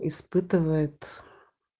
испытывает